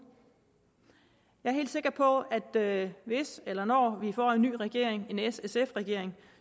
jeg er helt sikker på at hvis eller når vi får en ny regering en s sf regering